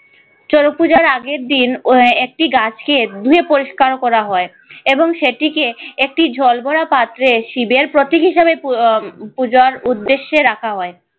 চড়ক পুজোর আগের দিন আহ একটি গাছকে ধুয়ে পরিষ্কার করা হয় এবং সেটিকে একটি জলভরা পাত্রে শিবের প্রতীক হিসেবে আহ পূজার উদ্দেশ্যে রাখা হয়।